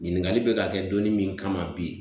Ɲininkali be ka kɛ donnin min kama bi